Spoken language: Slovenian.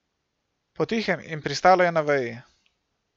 Potihem in pristalo je na veji.